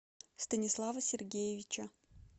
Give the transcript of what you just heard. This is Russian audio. станислава сергеевича